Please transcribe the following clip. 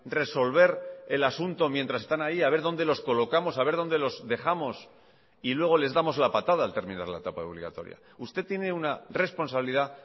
resolver el asunto mientras están ahí a ver dónde los colocamos a ver dónde los dejamos y luego les damos la patada al terminar la etapa obligatoria usted tiene una responsabilidad